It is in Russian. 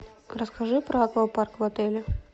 расскажи про аквапарк в отеле